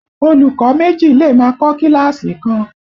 Olùkọ́ méjì lè máa kọ kíláàsì kan